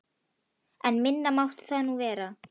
En minna mátti það nú vera.